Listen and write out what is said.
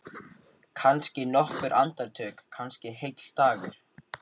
Kannski nokkur andartök, kannski heill dagur.